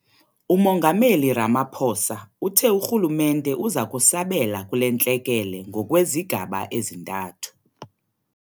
UMongameli Ramaphosa uthe urhulumente uza kusabela kule ntlekele ngokwezigaba ezintathu.